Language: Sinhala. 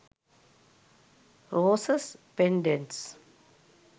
roses pendents